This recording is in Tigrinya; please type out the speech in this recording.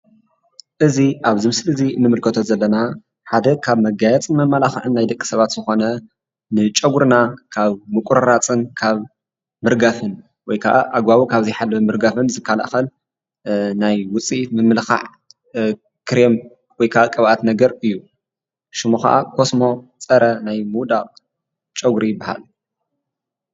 እዚ ኣብዚ ምስሊ እዚ ንምልከቶ ዘለና ሓደ ካብ መጋየፅን መመላክዕን ናይ ደቂ ሰባት ዝኾነ ንጨጉርና ካብ ምቁርራፅን ካብ ምርጋፍን ወይ ከዓ ኣግባቡ ዘይሓለወ ምርጋፍን ዝከላኸል ናይ ውፅኢት ምምልኻዕ ክሬም ወይ ከዓ ቅብኣት ነገር እዩ፡፡ ሽሙ ከዓ ኮስሞ ፀረ ናይ ምውዳቕ ጨጉሪ ይበሃል፡፡